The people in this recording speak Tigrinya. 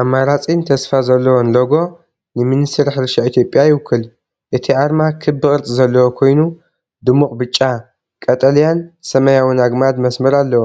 ኣማራጺን ተስፋ ዘለዎን ሎጎ ንሚኒስትሪ ሕርሻ ኢትዮጵያ ይውክል፣ እቲ ኣርማ ክቢ ቅርጺ ዘለዎ ኮይኑ፡ ድሙቕ ብጫ፡ ቀጠልያን ሰማያውን ኣግማድ መስመር ኣለዎ።